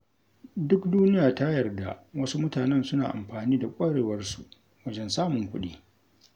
Duk duniya ta yarda wasu mutanen suna amfani da ƙwarewarsu wajen samun kuɗi.